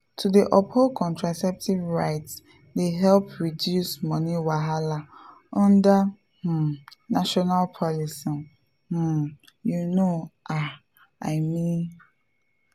to dey uphold contraceptive rights dey help reduce money wahala under um national policies um you know ah i me.